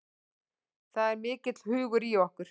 Það er mikill hugur í okkur